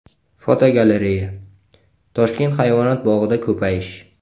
Fotogalereya: Toshkent hayvonot bog‘ida ko‘payish.